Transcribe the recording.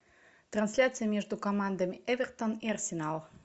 трансляция между командами эвертон и арсенал